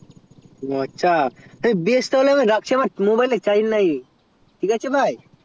ও আচ্ছা বেশ ঠিক আছে তাহলে আমার mobail এ charge নাই তাহলে রাখছি হ্যাঁ